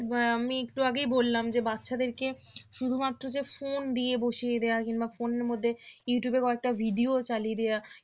আমি একটু আগেই বললাম যে বাচ্চাদেরকে শুধুমাত্র যে phone দিয়ে বসিয়ে দেওয়া কিংবা phone এর মধ্যে ইউটিউব এর কয়েকটা video চালিয়ে দেওয়া